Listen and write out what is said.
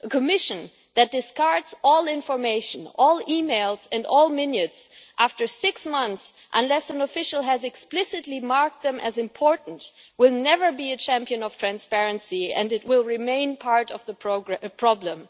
A Commission that discards all information, all emails and all minutes after six months, unless an official has explicitly marked them as important, will never be a champion of transparency and it will remain part of the problem.